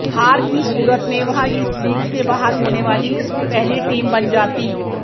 हार की सूरत में वह इस लीग से बाहर होने वाली पहली टीम बन जाती